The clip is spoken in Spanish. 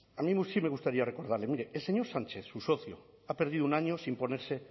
a mí sí me gustaría recordarle mire el señor sánchez su socio ha perdido un año sin ponerse